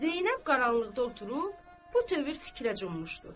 Zeynəb qaranlıqda oturub, bu tövür fikrə cummuşdu.